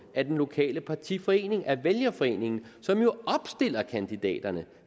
af den lokale partiforening af vælgerforeningen som jo opstiller kandidaterne